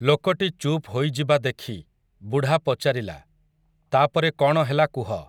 ଲୋକଟି ଚୁପ୍ ହୋଇଯିବା ଦେଖି, ବୁଢ଼ା ପଚାରିଲା, ତା'ପରେ କ'ଣ ହେଲା କୁହ ।